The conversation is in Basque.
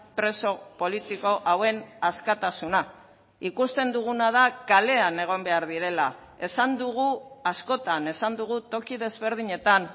preso politiko hauen askatasuna ikusten duguna da kalean egon behar direla esan dugu askotan esan dugu toki desberdinetan